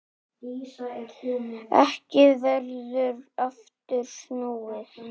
Ekki verður aftur snúið.